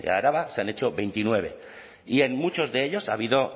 araba se han hecho veintinueve y en muchos de ellos ha habido